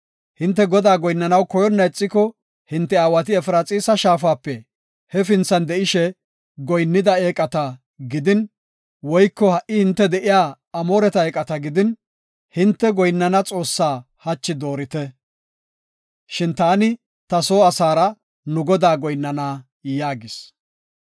Hinte Godaa goyinnanaw koyonna ixiko, hinte aawati Efraxiisa shaafape hefinthan de7ishe goyinnida eeqata gidin, woyko ha77i hinte de7iya Amooreta eeqata gidin, hinte goyinnana Xoossa hachi doorite. Shin taani, ta soo asaara nu Godaa goyinnana” yaagis.